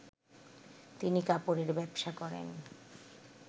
তিনি কাপড়ের ব্যবসা করেন